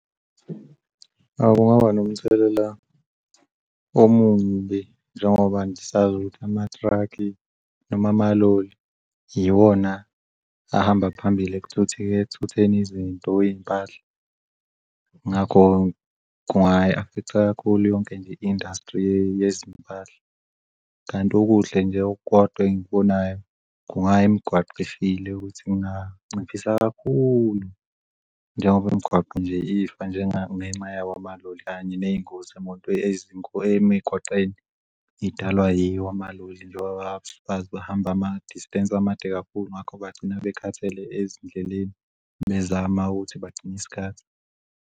Awu kungaba nomthelela omubi njengoba nje sazi ukuthi amathrukhi noma amaloli yiwona ahamba phambili ekuthutheni izinto iy'mpahla. Ngakho-ke kungayi-affect-a kakhulu yonke nje i-industry yezimpahla kanti okuhle nje okukodwa engikubonayo kungayi migwaqo efile ukuthi kunganciphisa kakhulu njengoba imigwaqo nje ifa njengenxa yawo amaloli kanye nengozi yemoto ezinkulu emigwaqeni idalwa yiwo amaloli njengoba bahlezi behambe ama-distance amade kakhulu ngakho bagcina bekhathele ezindleleni bezama ukuthi bagcini'sikhathi.